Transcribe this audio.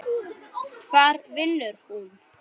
Hvar vinnur hún?